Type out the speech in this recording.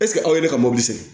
aw ye ne ka mobili sen